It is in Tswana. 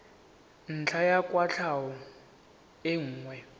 ntlha ya kwatlhao e nngwe